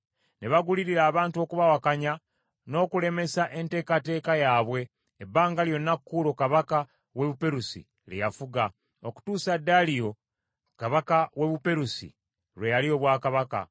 Ne bagulirira abantu okubawakanya n’okulemesa enteekateeka yaabwe, ebbanga lyonna Kuulo kabaka w’e Buperusi lye yafuga, okutuusa Daliyo kabaka w’e Buperusi lwe yalya obwakabaka.